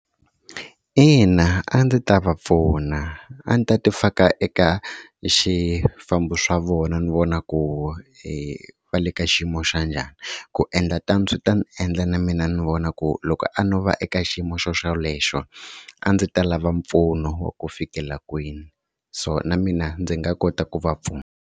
Ina a ndzi ta va pfuna a ndzi ta ti faka eka swifambo swa vona ni vona ku e va le ka xiyimo xa njhani. Ku endla tano swi ta ni endla na mina ni vona ku loko a no va eka xiyimo xoxelexo a ndzi ta lava mpfuno wa ku fikela kwini, so na mina ndzi nga kota ku va pfuna.